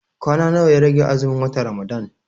Kwana nawa ya rage azumin watan Ramadan?